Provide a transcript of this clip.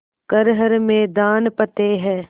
कर हर मैदान फ़तेह